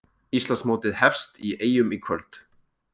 Íslandsmótið hefst í Eyjum í kvöld